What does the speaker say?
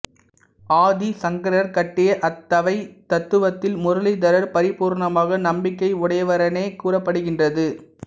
ஆதி சங்கரர் காட்டிய அத்வைதத் தத்துவத்தில் முரளீதரர் பரிபூரணமாக நம்பிக்கை உடையவரெனக் கூறப்படுகின்றது